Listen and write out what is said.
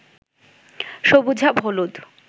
সবুজাভ হলুদ